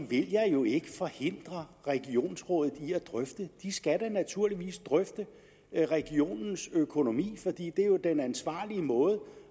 vil jeg jo forhindre regionsrådet i at drøfte de skal da naturligvis drøfte regionens økonomi for det er jo den ansvarlige måde